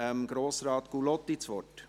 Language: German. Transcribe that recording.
Ich gebe Grossrat Gullotti das Wort.